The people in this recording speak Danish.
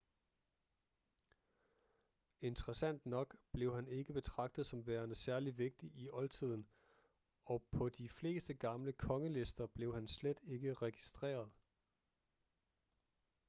interessant nok blev han ikke betragtet som værende særligt vigtig i oldtiden og på de fleste gamle kongelister blev han slet ikke registreret